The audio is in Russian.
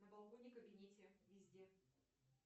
на балконе в кабинете везде